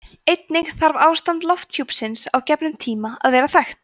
einnig þarf ástand lofthjúpsins á gefnum tíma að vera þekkt